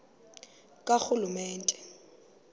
karhulumente